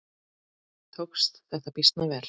Tókst þetta býsna vel.